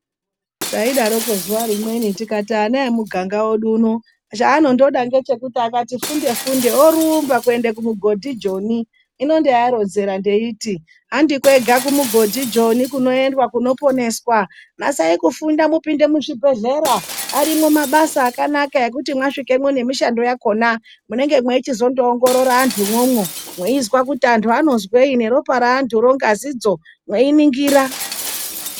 Taidaroko zuwa rimweni tikati ana emuganga uno chanondoda ngechekuti akangoti funde funde orumba kuenda kumugodhi Joni, hino ndaiaronzera ndeiti handi kwega kumugodhi Joni kunoendwa kunoponeswa, nasai kufunda mupinde muzvibhedhlera arimwo mabasa akanaka ekuti mwasvikemwo nemishando yakhona mwei chizo ndoongorora antu umwomwo mweizwa kut antu anozwei neropa reantu ro ngazi dzo mweiningira.